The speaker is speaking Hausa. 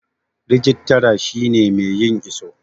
rijitara shi ne mai yin iso